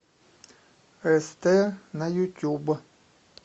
эстэ на ютюб